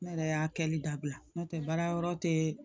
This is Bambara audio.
Ne yɛrɛ y'a kɛli dabila n'o tɛ baara yɔrɔ tɛ